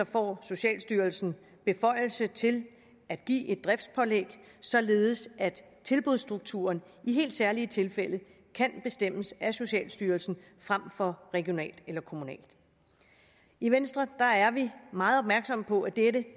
får socialstyrelsen beføjelse til at give et driftspålæg således at tilbudsstrukturen i helt særlige tilfælde kan bestemmes af socialstyrelsen frem for regionalt eller kommunalt i venstre er vi meget opmærksomme på at dette